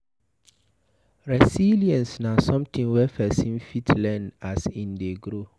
Resilience na something wey person fit learn as im dey grow